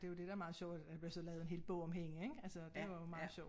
Det jo det der meget sjovt at at der blev så lavet en hel bog om hende ik altså det var jo meget sjovt